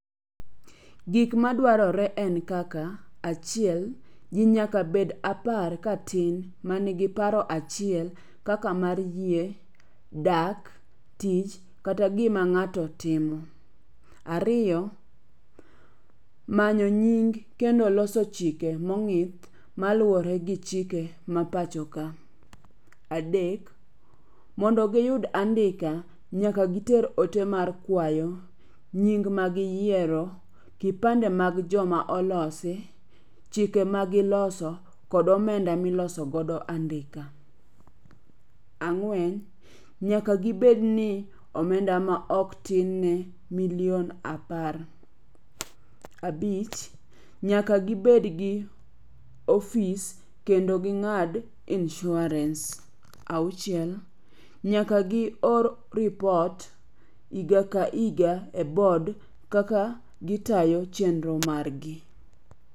Gik madwarore en kaka - Achiel: ji nyaka bed apar ka tin manigi paro achiel kaka mar yie, dak, tich kata gima ng'ato timo. Ariyo: manyo nying kendo loso chike mong'ip maluwore gi chike ma pacho ka. Adek: mondo giyud andika, nyaka giter ote mar kwayo, nying magiyiero, kipande mag joma olosi, chike ma giloso, kod omenda milosogodo andika. Ang'wen: nyaka gibed ni omenda ma ok tine ne million apar. Abich: nyaka gibed gi ofis kendo ging'ad insurance. Auchiel: Nyaka gi or rupot higa ka higa e board kaka gitayo chenro marg gi.